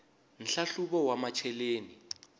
nhlahluvo wa macheleni